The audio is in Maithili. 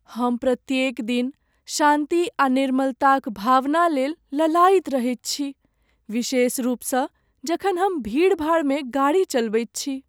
हम प्रत्येक दिन शान्ति आ निर्मलताक भावना लेल लालायित रहैत छी, विशेष रूपसँ जखन हम भीड़भाड़मे गाड़ी चलबैत छी।